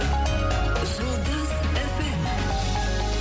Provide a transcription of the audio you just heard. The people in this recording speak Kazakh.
жұлдыз эф эм